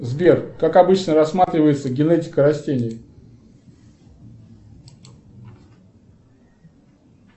сбер как обычно рассматривается генетика растений